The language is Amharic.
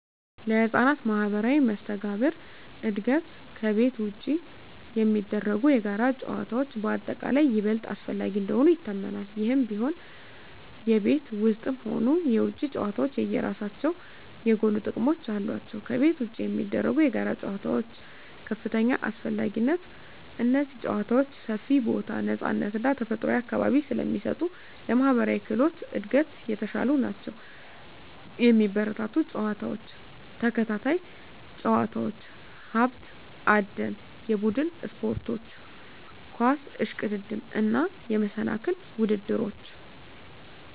ለሕፃናት ማኅበራዊ መስተጋብር እድገት ከቤት ውጪ የሚደረጉ የጋራ ጨዋታዎች በአጠቃላይ ይበልጥ አስፈላጊ እንደሆኑ ይታመናል። ይህም ቢሆን፣ የቤት ውስጥም ሆኑ የውጪ ጨዋታዎች የየራሳቸው የጎሉ ጥቅሞች አሏቸው። ከቤት ውጪ የሚደረጉ የጋራ ጨዋታዎች (ከፍተኛ አስፈላጊነት) እነዚህ ጨዋታዎች ሰፊ ቦታ፣ ነፃነት እና ተፈጥሯዊ አካባቢ ስለሚሰጡ ለማኅበራዊ ክህሎት እድገት የተሻሉ ናቸው። የሚበረታቱ ጨዋታዎች፦ ተከታታይ ጨዋታዎች፣ ሀብት አደን፣ የቡድን ስፖርቶች (ኳስ፣ እሽቅድድም)፣ እና የመሰናክል ውድድሮች።